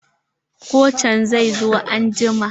Kocin zai zo anjima.